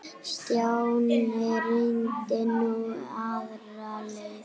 Stjáni reyndi nú aðra leið.